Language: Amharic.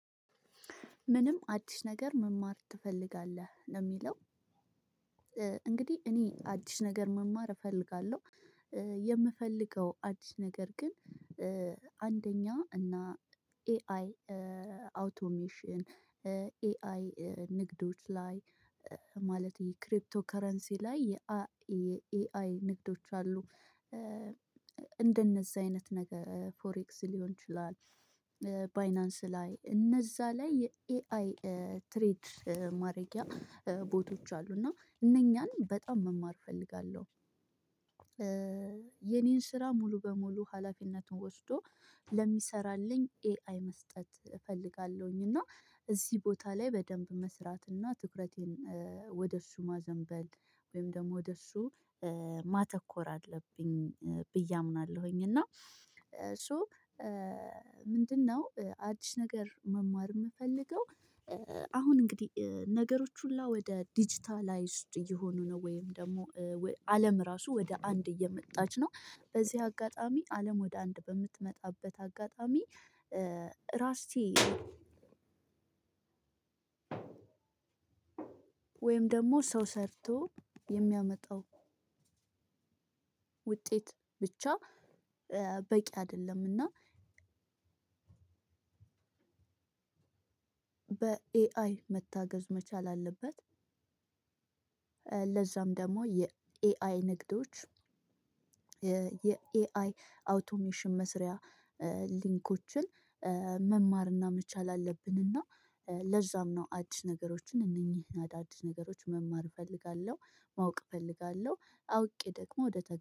ምንም አዲስ ነገር መማር ትፈልጋለህ ነው የሚለው? እንግዲህ እኔ አዲስ ነገር መማር እፈልጋለሁ። የምፈልገው አዲስ ነገር ግን አንደኛ እና ኤአይ አውቶሜሽን ኤአይ ንግዶች ላይ ማለት ይሄ ክሪፕቶ ከረንሲ ላይ የኤአይ ንግዶች አሉ። እንደነዚህ አይነት ነገር ፎሬክስ ሊሆን ይችላል ባይናንስ ላይ እነዛ ላይ የኤአይ ትሬድ ማድረጊያ ቦቶች አሉ እና እነኛን በጣም መማር እፈልጋለሁ። የኔን ስራ ሙሉ በሙሉ ሀላፊነቱን ወስዶ ለሚሰራልኝ ኤአይ መስጠት እፈልጋለሁኝ። እና እዚህ ቦታ ላይ በደንብ መስራት እና ትኩረቴን ወደ እሱ ማዘንበል ወይም ደግሞ ወደ እሱ ማተኮር አለብኝ ብዬ አምናለሁኝ። እና ሶ ምንድነው አዲስ ነገር መማር የምፈልገው። አሁን እንግዲህ ነገሮች ሁሉ ወደ ዲጂታላይዝድ እየሆኑ ነው ወይም ደግሞ አለም ራሱ ወደ አንድ እየመጣች ነው በዚህ አጋጣሚ አለም ወደ አንድ በምትመጣበት አጋጣሚ ራስቼ ወይም ደግሞ ሰው ሰርቶ የሚያመጣው ውጤት ብቻ በቂ አይደለምና በኤአይ መታገዝ መቻል አለበት። ለዛም ደግሞ የኤአይ ንግዶች የኤአይ አውቶሜሽን መስሪያ ሊንኮችን መማርና መቻል አለብንና ለዛም ነው አዲስ ነገሮችን እነኚህን አዳዲስ ነገሮች መማር እፈልጋለሁ። ማወቅ እፈልጋለሁ አውቄ ደግሞ ወደ ተ